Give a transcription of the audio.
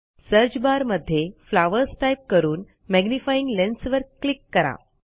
search bar मध्ये flowers type करून magnifying lens वर क्लिक करा